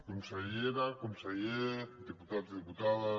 consellera conseller diputats i diputades